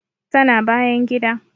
Tana bayan gida